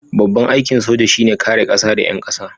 Babban aikin soja shi ne kare kasa da 'yan kasa.